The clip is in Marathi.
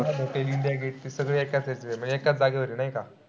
इंडिया गेट सगळे एका side ला म्हणजे एकाच जागेवर आहेत नाही का?